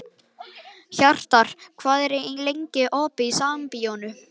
Hjarnar, hvað er lengi opið í Sambíóunum?